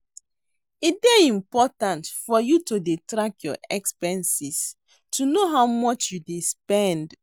E dey important for you to dey track your expenses to know how much you dey spend